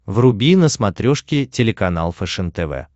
вруби на смотрешке телеканал фэшен тв